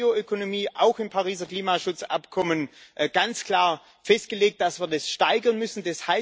Und dann Bioökonomie Auch im Pariser Klimaschutzabkommen ist ganz klar festgelegt, dass wir das steigern müssen.